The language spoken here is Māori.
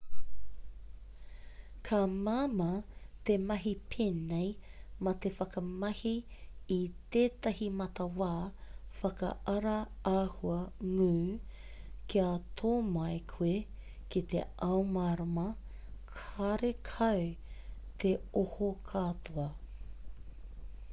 ka māmā te mahi pēnei mā te whakamahi i tētahi matawā whakaara āhua ngū kia tō mai koe ki te ao mārama karekau te oho katoa